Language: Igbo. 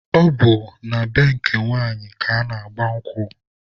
Ọ bụ na be nke nwanyị ka ana-agba nkwụ.